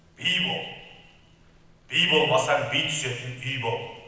би бол би болмасаң би түсетін үй бол